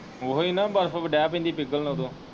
ਓਹੀ ਨਾ ਬਰਫ ਡੇ ਪੈਂਦੀ ਪਿਗਲਨ ਓਦੋ।